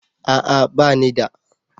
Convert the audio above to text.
A'a ba ni da.